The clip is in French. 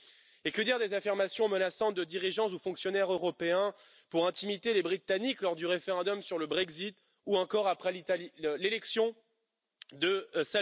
Enfin, que dire des affirmations menaçantes de dirigeants ou de fonctionnaires européens pour intimider les Britanniques lors du référendum sur le Brexit ou encore après l'élection de M.